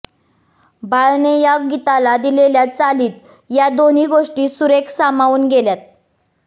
बाळने या गीताला दिलेल्या चालीत या दोन्ही गोष्टी सुरेख सामावून गेल्यात